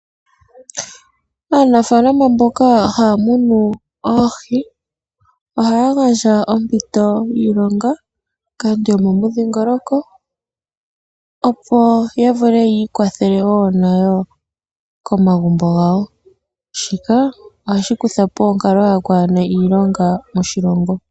Aanafaalama mboka haya munu oohi, ohaya gandja ompito yiilonga kaantu yo momudhiingoloko, opo ya vule ya ikwathele woo nayo komagumbo gawo, shika ohashi kutha po onkalo yokwaana iilonga moshilongo.